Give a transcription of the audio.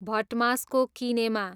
भटमासको किनेमा